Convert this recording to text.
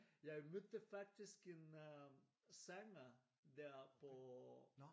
Jeg mødte faktisk en øh sanger der på